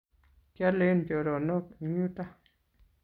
kioolen choronok eng yuto